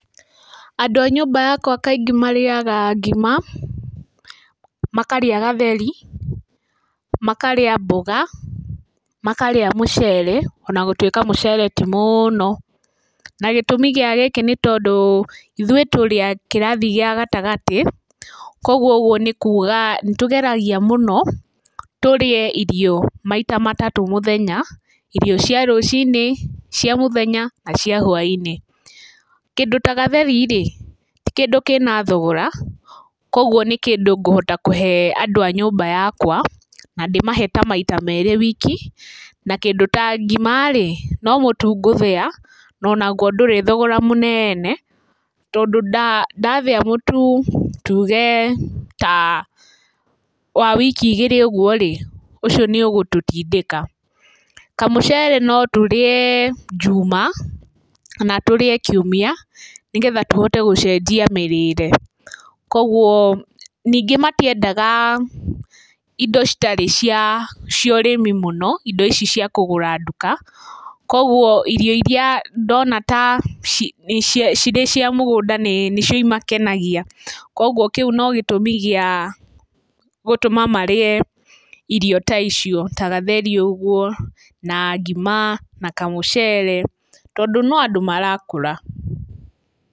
Andũ a nyũmba yakwa kaingĩ marĩaga ngima, makarĩa gatheri, makarĩa mboga, makarĩa mũcere ona gũtuĩka mũcere ti mũno. Na gĩtũmi gĩa gĩkĩ nĩ tondũ ithuĩ tũrĩ a kĩrathi gĩa gatagatĩ. Kwoguo ũguo nĩ kuuga nĩ tũgeragia mũno tũrĩe irio maita matatũ mũthenya, irio cia rũcinĩ, cia mũthenya na cia hwaĩinĩ. Kĩndũ ta gatheri rĩ, ti kĩndũ kĩna thogora koguo nĩ kĩndũ ngũhota kũhe andũ a nyũmba yakwa na ndĩmahe ta maita merĩ wiki. Na kĩndũ ta ngima rĩ, no mũtu ngũthĩa na onaguo ndũrĩ thogora mũnene. Tondũ nda ndathĩa mũtu tuuge ta wa wiki igĩrĩ ũguo rĩ, ũcio nĩ ũgũtũtindĩka. Kamũcere no tũrĩe, njuma kana tũrĩe kiumia nĩgetha tũhote gũcenjia mĩrĩĩre. Kwoguo, ningĩ matiendaga, indo citarĩ cia ũrĩmi mũno, indo ici kũgũra nduka, kwoguo irio irĩa ndona ta cirĩ cia mũgũnda nĩcio imakenagia. Kwoguo kĩu no gĩtũmi gĩa, gũtũma marĩe irio ta icio, ta gatheri ũguo na ngima na kamũcere, tondũ no andũ marakũra.